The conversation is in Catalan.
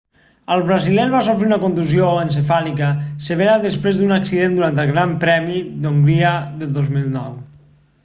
el brasiler va sofrir una contusió encefàlica severa després d'un accident durant el gran premi d'hongria del 2009